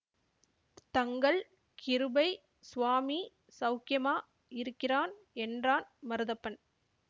தங்கள் கிருபை சுவாமி சௌக்கியமா இருக்கிறான் என்றான் மருதப்பன்